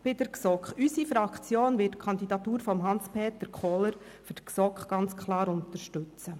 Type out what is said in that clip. Bei der GSoK wird unsere Fraktion die Kandidatur von Hans-Peter Kohler ganz klar unterstützen.